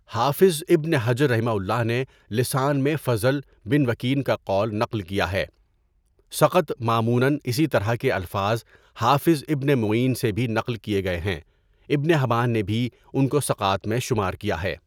حافظ ابن حجر رحمہ اللہ نے لسان میں فضل بن وکین کا قول نسل کیا ہے، ثقۃ ماموناً اسی طرح کے الفاظ حافظ ابن معین سے بھی نقل کیےگئے ہیں، ابن حبان نے بھی ان کوثقات میں شمار کیا ہے.